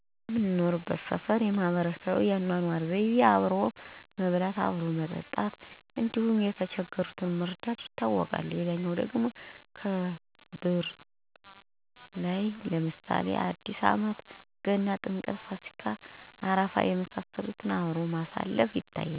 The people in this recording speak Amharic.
እኛ የምንኖርበት ሠፈር የማህበረሰቡ የአኖኖር ዘይቤው አብሮ በመብላት፣ አብሮ በመጠጣት እንዲሁም የተቸገሩትን በመርዳት ይታወቃል። ሌላው ደግሞ ከብረባእላትን ለምሳሌ አዲስአመት፣ ገና፣ ጥምቀት፣፣ ፋሲካ፣ አረፋ፣ መውሊድ የመሳሰሉትን ባህሎች እንደየሀይማኖቱ የቱፊት ሥርአት በጋራ ና በድምቀት እንዲሁም የሚያስፈልጉ የባህል አልባሳትን በመልበስ በድምቀት ሲያከብር ይኖራል። ሌላው የአካባቢያችን የማህበረሰቡ መገለጫ የሆነው አንድ ሰው ቤተሰቡን በሞት ሲለየው የአላቅሱኝ መልእክት በጥሩንባ ይተላለፋል ከዚያ በኋላ በሀዘን የተጎዱትን ግለሰቦች ለማጽናናት ማህበረሰብ እድር በሚባል ባህል ገንዘብ በማውጣት የተገዛ ድንኳን ይተከላል። ይህ ድንኳን ሀዘንተኞችን በማፅናናት ለሶስት ቀን ይቆያል ከሶስት ቀን በኋላ ድንኳኑን በማፍረስ ሀዘንተኞችን ወደቤት በማስገባት ይቋጫል።